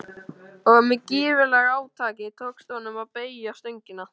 og með gífurlegu átaki tókst honum að beygja stöngina.